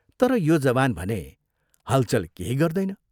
तर यो जवान भने हलचल केही गर्दैन।